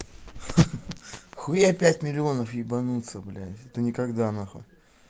хуя пять миллионов ебануться блять это никогда нахуй